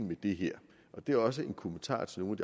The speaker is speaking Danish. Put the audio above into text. med det her og det er også en kommentar til nogle